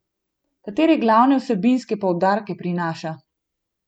Katere glavne vsebinske poudarke prinaša?